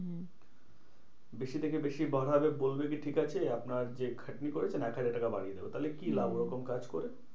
বেশি থেকে বেশি বাড়াবে বলবে কি ঠিকাছে আপনার যে খাটনি করেছেন, এক হাজার টাকা বাড়িয়ে দেব তাহলে কি লাভ ওরকম কাজ করে?